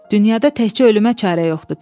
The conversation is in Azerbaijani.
Dünyada təkcə ölümə çarə yoxdur.